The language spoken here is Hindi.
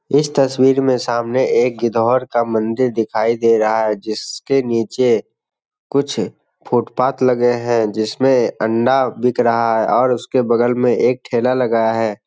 इस तस्वीर में सामने एक गिद्धौर का मंदिर दिखाई दे रहा है जिसके नीचे कुछ फुटपाथ लगे हैं जिस में अंडा बिक रहा है और उसके बगल में एक ठेला लगा है।